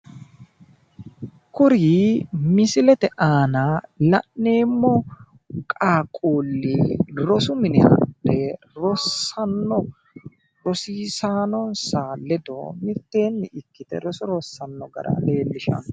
Kuri misilete aana la'neemmo qaaqquulli rosu mine hadhe rossanno rosiisaanonsa ledo mitteenni ikkite roso rossanno gara leellishanno